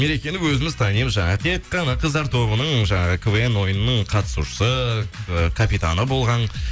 мерекені өзіміз танимыз жаңағы тек қана қыздар тобының жаңағы квн ойынының қатысушысы капитаны болған